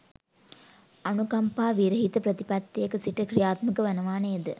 අනුකම්පා විරහිත ප්‍රතිපත්තියක සිට ක්‍රියාත්මක වනවා නේද?